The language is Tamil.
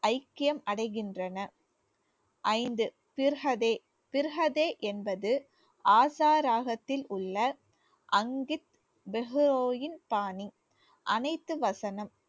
ஐக்கியம் அடைகின்றன. ஐந்து திர்ஹதே திர்ஹதே என்பது ஆசா ராகத்தில் உள்ள பாணி அனைத்து வசனம்